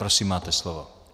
Prosím, máte slovo.